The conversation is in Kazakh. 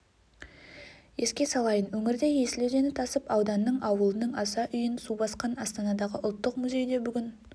еске салайын өңірде есіл өзені тасып ауданның ауылының аса үйін су басқан астанадағы ұлттық музейде бүгін